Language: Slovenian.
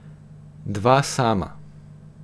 Dva sama.